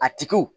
A tigiw